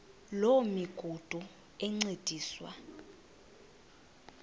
loo migudu encediswa